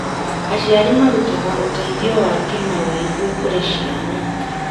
Aciari marutaga ũteithio wa kĩmawĩgwi kũrĩ ciana.